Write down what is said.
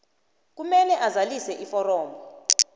kumele azalise iforomo